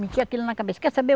Meti aquilo na cabeça, quer saber?